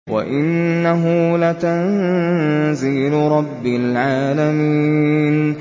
وَإِنَّهُ لَتَنزِيلُ رَبِّ الْعَالَمِينَ